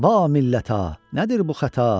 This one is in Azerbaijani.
Va millətə, nədir bu xəta?